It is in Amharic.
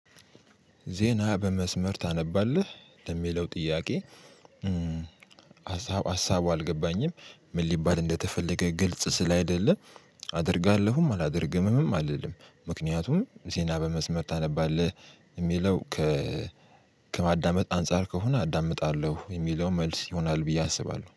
ዜና በመስመር ታነባለህ ለሚለው ጥያቄ? ሀሳብ ሀሳቡ አልገባኝም ምን ሊባል እንደተፈለገ ግልጽ ስላይደለ። አደርጋለሁም አላደርግም አልልም ምክንያቱም ዜና በመስመር ታነባለህ ሚለው። ከማዳመጥ አንፃር ከሆነ አዳምጣለሁ የሚለው መልስ ይሆናል ብዬ አስባለሁ